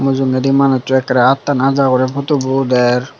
mujugendi manusso ekkerey attan aja guri putobo uder.